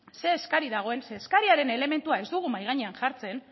ze eskari dagoen ze eskariaren elementua ez dugu mahai gainean jartzen